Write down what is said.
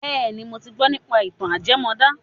Bẹ́ẹ̀ni, mo ti gbọ́ nípa ìtàn ajẹmọ́dán.